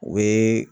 O ye